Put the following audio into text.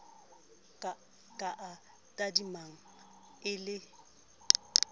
ka a tadimang e le